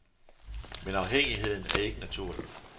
Men afhængigheden er ikke naturlig.